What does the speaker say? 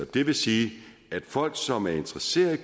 det vil sige at folk som er interesseret